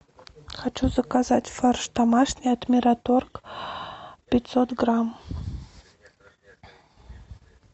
хочу заказать фарш домашний от мираторг пятьсот грамм